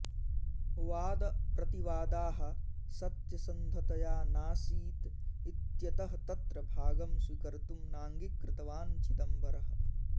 वादप्रतिवादाः सत्यसन्धतया नासीत् इत्यतः तत्र भागं स्वीकर्तुं नाङ्गीकृतवान् चिदंबरः